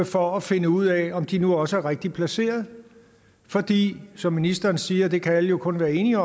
for at finde ud af om de nu også er rigtigt placeret fordi som ministeren siger og det kan alle jo kun være enige